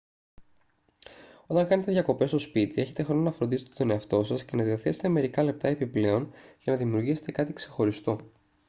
όταν κάνετε διακοπές στο σπίτι έχετε χρόνο να φροντίσετε τον εαυτό σας και να διαθέσετε μερικά λεπτά επιπλέον για να δημιουργήσετε κάτι ξεχωριστό